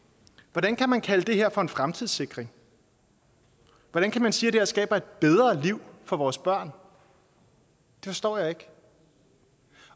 hvordan kan man kalde det her for en fremtidssikring hvordan kan man sige at det her skaber et bedre liv for vores børn det forstår jeg ikke